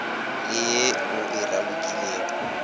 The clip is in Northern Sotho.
le ye o e ralokilego